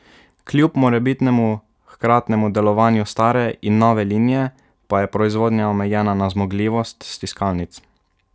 Kljub morebitnemu hkratnemu delovanju stare in nove linije pa je proizvodnja omejena na zmogljivost stiskalnic.